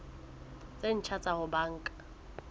tse ntjha tsa ho banka